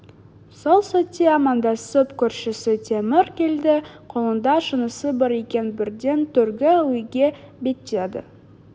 сол сәтте амандасып көршісі темір келді қолында шынысы бар екен бірден төргі үйге беттеді